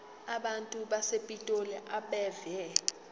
abantu basepitoli abeve